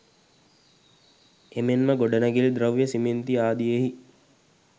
එමෙන්ම ගොඩනැගිලි ද්‍රව්‍ය සිමෙන්ති ආදියෙහි